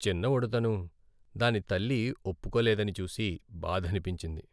చిన్న ఉడుతను దాని తల్లి ఒప్పుకోలేదని చూసి బాధనిపించింది.